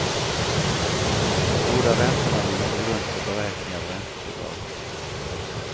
Båda räntorna ligger till grund för beräkning av räntebidrag.